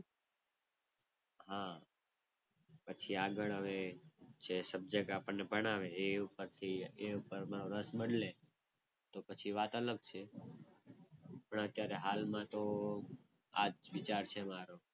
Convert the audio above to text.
હા પછી આગળ હવે જે subject આપણને ભણાવે એ પ્રમાણે રસ બદલે, તો પછી વાત અલગ છે. પણ અત્યારે હાલમાં તો આ જ વિચાર છે મારો.